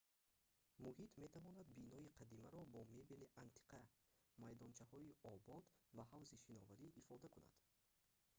муҳит метавонад бинои қадимаро бо мебели антиқа майдончаҳои обод ва ҳавзи шиноварӣ ифода кунад